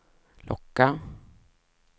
locka